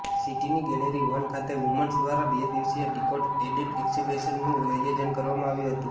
સિટીની gallery one ખાતે women's દ્વારા બે દિવસીય ડીકોડ એડિટ એક્ઝિબિશનનું આયોજન કરવામાં આવ્યું હતું